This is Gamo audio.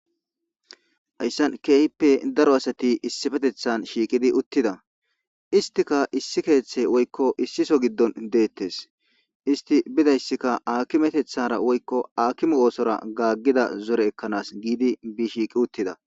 Haysan keehippe daro asato issipetethan shiiqidi uttida. Isttikka issi keethe woykko issi sohon de'eteesi. Istti bidayssikka aakimetethara woykko aakime oosora gaagida zore ekkanasi giidi shiiqi uttida.